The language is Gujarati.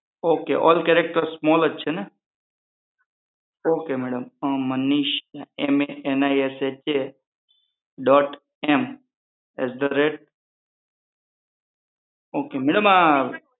OK ઓલ કેરેક્ટર સ્મોલ જ જ છે ને Manisha M A N I S H A ok madam